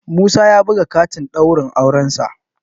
Musa ya buga katin ɗaurin aurensa